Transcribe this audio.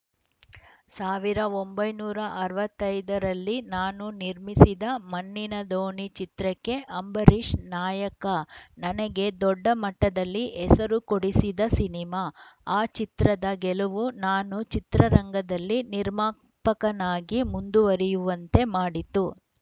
ಸಾವಿರದ ಒಂಬೈನೂರ ಅರವತ್ತ್ ಐದು ರಲ್ಲಿ ನಾನು ನಿರ್ಮಿಸಿದ ಮಣ್ಣಿನ ದೋಣಿ ಚಿತ್ರಕ್ಕೆ ಅಂಬರೀಷ್‌ ನಾಯಕ ನನಗೆ ದೊಡ್ಡ ಮಟ್ಟದಲ್ಲಿ ಹೆಸರು ಕೊಡೆಸಿದ ಸಿನಿಮಾ ಆ ಚಿತ್ರದ ಗೆಲುವು ನಾನು ಚಿತ್ರರಂಗದಲ್ಲಿ ನಿರ್ಮಾಪಕನಾಗಿ ಮುಂದುವರಿಯುವಂತೆ ಮಾಡಿತು